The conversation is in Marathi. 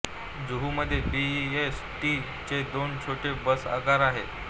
जुहूमध्ये बी ई एस टी चे दोन छोटे बस आगार आहेत